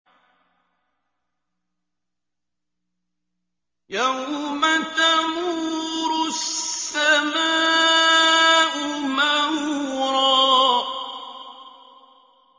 يَوْمَ تَمُورُ السَّمَاءُ مَوْرًا